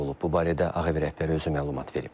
Bu barədə Ağ Ev rəhbəri özü məlumat verib.